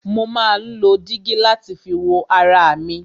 Mo má ń lo dígí láti fi wo ara mi.